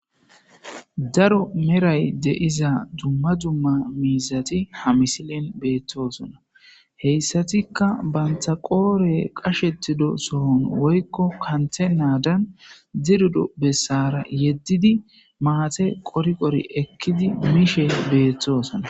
Daro meray deiza dumma dumma miizati ha misilen beethtoosona heyssatikka banta qoore qashettido sohon woykko kanthe naadan dirudo bessara yeddidi maate qoriqori ekkidi mishe beeththoosona